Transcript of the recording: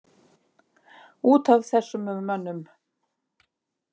Út af þessum mönnum?